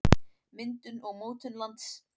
myndun og mótun lands